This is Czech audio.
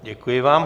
Děkuji vám.